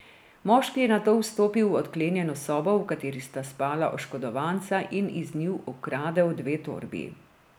Moški je nato vstopil v odklenjeno sobo, v kateri sta spala oškodovanca, in iz nje ukradel dve torbi.